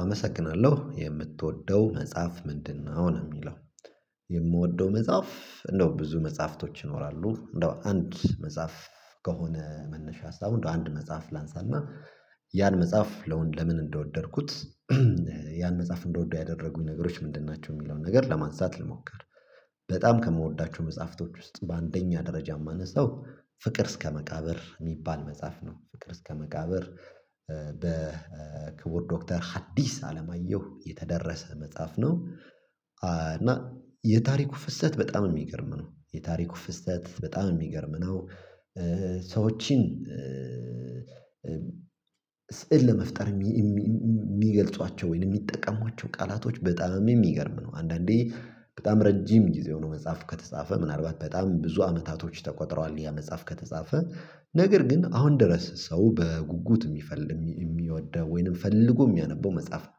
አመሰግናለሁ የምትወደው መጽሐፍ ምንድነው? አሁን የሚለው የምወደው መጽሐፍ እንደው ብዙ መጽሐፍቶች ይኖራሉ። እንደው አንድ መጽሐፍ ከሆነ መነሻ ሀሳቡ እንደው አንድ መጽሐፍ ላንሳና ያን መጽሐፍ ለምን እንደወደድኩት? ያን መጽሐፍ እንድወደው ያደረጉኝ ነገሮች ምንድን ናቸው የሚለውን ነገር ለማንሳት ልሞክር። በጣም ከምወዳቸው መጽሐፍቶች ውስጥ በአንደኛ ደረጃ የማነሳው ፍቅር እስከ መቃብር የሚባል መጽሐፍ ነው። ፍቅር እስከ መቃብር በክቡር ዶክተር ሀዲስ አለማየሁ የተደረሰ መጽሐፍ ነው። እና የታሪኩ ፍሰት በጣም የሚገርም ነው የታሪኩ ፍሰት በጣም የሚገርም ነው። ሰዎችን ስዕል ለመፍጠር የሚገልጿቸው ወይም የሚጠቀሟቸው ቃላቶች በጣም የሚገርም ነው። አንዳንዴ በጣም ረጅም ጊዜ ሆኖ መጽሐፍ ከተጻፈ ምናልባት በጣም ብዙ አመታቶች ተቆጥረዋል ያ መጽሐፍ ከተጻፈ ነገር ግን አሁን ድረስ ሰው በጉጉት የሚፈልግ የሚወደው ወይንም ፈልጎ የሚያነበው መጽሐፍ ነው።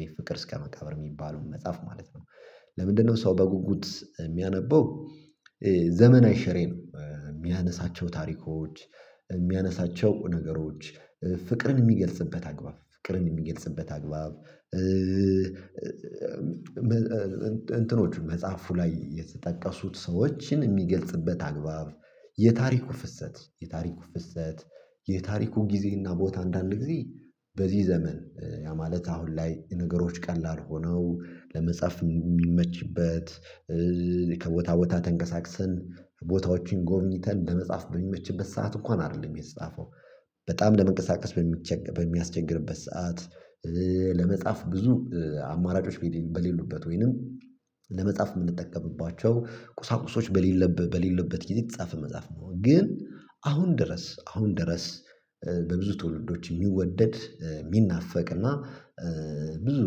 ይሄ ፍቅር እስከ መቃብር የሚባለውን መጽሐፍ ማለት ነው። ለምንድነው ሰው በጉጉት የሚያነበው? ዘመናይ ሽሬ ነው የሚያነሳቸው ታሪኮች የሚያነሳቸው ነገሮች ፍቅርን የሚገልጽበት አግባብ ፍቅርን የሚገልጽበት አግባብ እንትኖች መጽሐፉ ላይ የተጠቀሱት ሰዎችን የሚገልጽበት አግባብ የታሪኩ ፍሰት የታሪኩ ፍሰት የታሪኩ ጊዜና ቦታ አንዳንድ ጊዜ በዚህ ዘመን ያ ማለት አሁን ላይ ነገሮች ቀላል ሆነው ለመጻፍ የሚመችበት። ከቦታ ቦታ ተንቀሳቅሰን ቦታዎችን ጎብኝተን ለመጻፍ በሚመችበት ሰዓት እንኳን አይደለም የተጻፈው በጣም ለመንቀሳቀስ በሚያስቸገርበት ሰዓት ለመጻፍ ብዙ አማራጮች በሌሉበት ወይንም ለመጻፍ የምንጠቀምባቸው ቁሳቁሶች በሌለበት በሌለበት የተጻፈ መጽሐፍ ነው። ግን አሁን ድረስ አሁን ድረስ በብዙ ትውልዶች የሚወደድ የሚናፈቅ እና ብዙ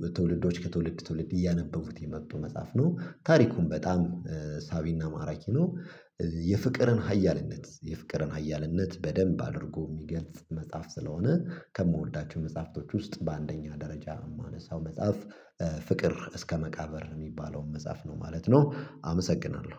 በትውልዶች ከትውልድ ትውልድ እያነበቡት የመጡ መጽሐፍ ነው። ታሪኩም በጣም ሳቢና ማራኪ ነው። የፍቅርን ሀያልነት የፍቅርን ሀያልነት በደንብ አድርጎ የሚገልጽ መጽሐፍ ስለሆነ ከምወዳቸው መጽሐፍቶች ውስጥ በአንደኛ ደረጃ የማነሳው መጽሐፍ ፍቅር እስከ መቃብር የሚባለውን መጽሐፍ ነው ማለት ነው። አመሰግናለሁ